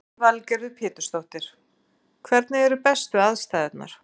Lillý Valgerður Pétursdóttir: Hvernig eru bestu aðstæðurnar?